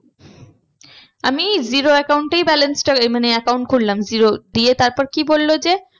আমি zero account এই balance টা মানে account করলাম zero দিয়ে তারপর কি বললো যে